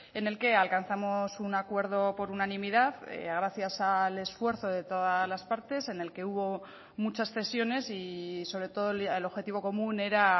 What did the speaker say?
en el que alcanzamos un acuerdo por unanimidad gracias al esfuerzo de todas las partes en el que hubo muchas cesiones y sobre todo el objetivo común era